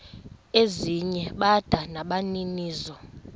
ezinye bada nabaninizo